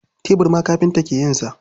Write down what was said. Tebur ma kafinta ke yin sa.